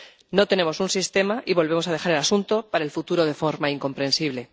No tenemos un sistema y volvemos a dejar el asunto para el futuro de forma incomprensible.